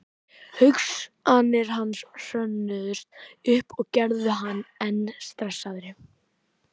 Hugsanir hans hrönnuðust upp og gerðu hann enn stressaðri.